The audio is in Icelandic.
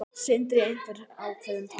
Sindri: Einhver ákveðin tala?